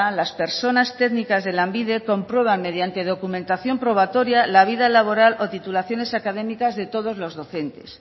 las personas técnicas de lanbide comprueban mediante documentación probatoria la vida laboral o titulaciones académicas de todos los docentes